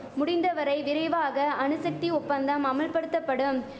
முடிந்த வரை விரைவாக அணுசக்தி ஒப்பந்தம் அமுல்படுத்தபடும்